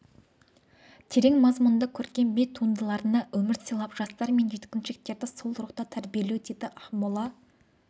терең мазмұнды көркем би туындыларына өмір сыйлап жастар мен жеткіншектерді сол рухта тәрбиелеу дейді ақмола